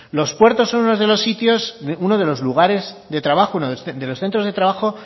los puertos son unos de los sitios unos de los lugares de trabajo uno de los centros de trabajo